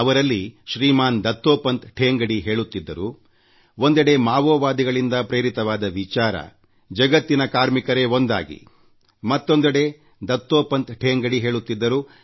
ಅವರಲ್ಲಿ ಶ್ರೀಮಾನ್ ದತ್ತೋಪಂತ್ ಠೇಂಗಡಿ ಹೇಳುತ್ತಿದ್ದರು ಒಂದೆಡೆ ಮಾವೋವಾದಿಗಳಿಂದ ಪ್ರೇರಿತವಾದ ವಿಚಾರ ಜಗತ್ತಿನ ಕಾರ್ಮಿಕರೇ ಒಂದಾಗಿ ಮತ್ತೊಂದೆಡೆ ದತ್ತೋಪಂತ್ ಠೇಂಗಡಿ ಹೇಳುತ್ತಿದ್ದರು